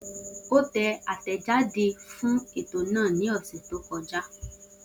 O tẹjáde asia fun eto naa ni ọsẹ to kọja.